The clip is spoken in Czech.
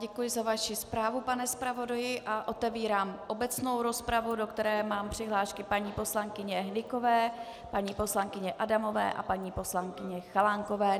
Děkuji za vaši zprávu, pane zpravodaji, a otevírám obecnou rozpravu, do které mám přihlášky paní poslankyně Hnykové, paní poslankyně Adamové a paní poslankyně Chalánkové.